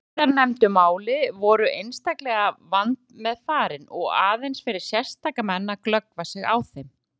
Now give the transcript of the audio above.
Síðarnefndu málin voru einstaklega vandmeðfarin og aðeins fyrir sérstaka menn að glöggva sig á þeim.